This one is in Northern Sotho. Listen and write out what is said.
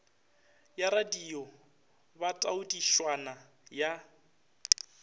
ya radio ba taodišwana ya